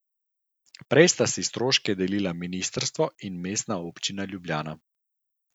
Prej sta si stroške delila ministrstvo in Mestna občina Ljubljana.